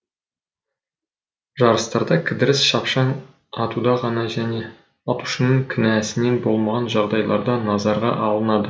жарыстарда кідіріс шапшаң атуда ғана және атушының кінәсінен болмаған жағдайларда назарға алынады